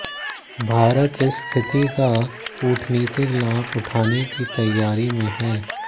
भारत इस स्थिति का कूटनीतिक लाभ उठाने की तैयारी में है